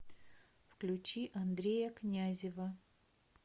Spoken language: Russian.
включи андрея князева